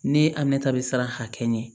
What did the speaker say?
Ne amina ta bɛ siran hakɛ ɲɛ